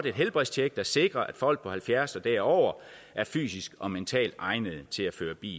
et helbredstjek der sikrer at folk på halvfjerds år og derover er fysisk og mentalt egnede til at føre bil